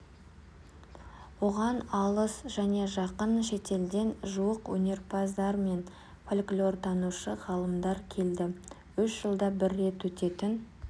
оған алыс және жақын шетелден жуық өнерпаздар мен фольклортанушы ғалымдар келді үш жылда бір рет өтетін